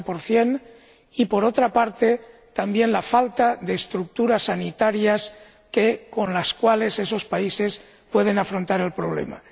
60 y, por otra parte, también la falta de estructuras sanitarias con las cuales esos países pueden afrontar el problema.